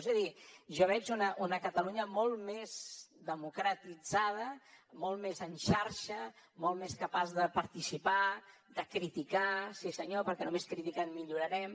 és a dir jo veig una catalunya molt més democratitzada molt més en xarxa molt més capaç de participar de criticar sí senyor perquè només criticant millorarem